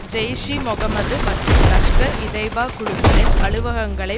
ஜெய்ஷ்இமொகம்மது மற்றும் லஷ்கர்இதய்பா குழுக்களின் அலுவலகங்களை